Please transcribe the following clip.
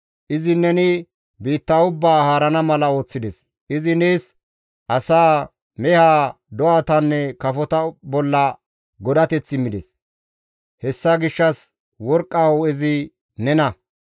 Izi neni biitta ubbaa haarana mala ooththides; izi nees asaa, mehaa, do7atanne kafota bolla godateth immides; hessa gishshas worqqa hu7ezi nena.